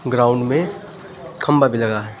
Ground में खंभा भी लगा है।